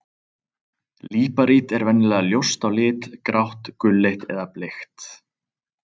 Líparít er venjulega ljóst á lit, grátt, gulleit eða bleikt.